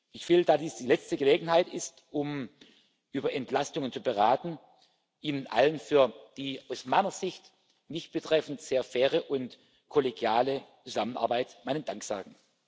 Ich will, da dies die letzte Gelegenheit ist, um über Entlastungen zu beraten, Ihnen allen für die aus meiner Sicht mich betreffend sehr faire und kollegiale Zusammenarbeit meinen Dank sagen.